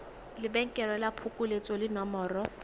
lebenkele la phokoletso le nomoro